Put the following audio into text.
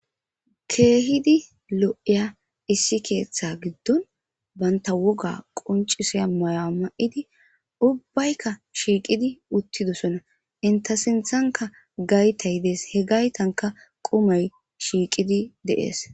Keehidi lo7iya issi keeththaa giddon banththa wogaa qonccisiya ma7uwa ma7idi ubbaykka shiiqidi uththidosona; inththe sinththankka gaythay des; he gaythankka qumay shiiqidi de7ees.